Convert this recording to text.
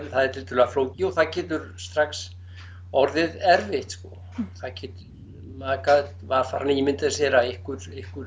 það er tiltölulega flókið og það getur strax orðið erfitt sko maður gat var farinn að ímynda sér að einhver